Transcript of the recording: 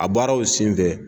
A baaraw sen fɛ